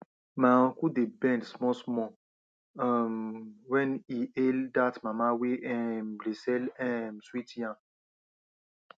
my uncle dey bend smallsmall um when he hail that mama wey um dey sell um sweet yam